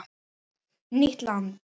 Nýtt land